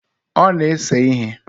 Ọ na-ese ihe.